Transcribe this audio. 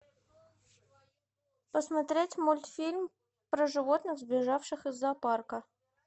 посмотреть мультфильм про животных сбежавших из зоопарка